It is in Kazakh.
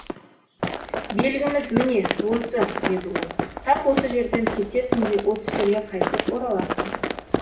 белгіміз міне осы деді ол тап осы жерден кетесің де осы жерге қайтып ораласың